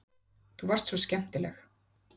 Þú varst svo skemmtileg.